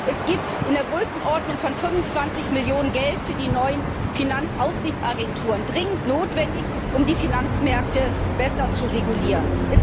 Es gibt in der Größenordnung von 25 Millionen EUR Mittel für die neuen Finanzaufsichtsagenturen. Das ist dringend notwendig, um die Finanzmärkte besser zu regulieren.